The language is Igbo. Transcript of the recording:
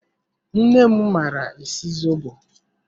Nne m maara esi zobo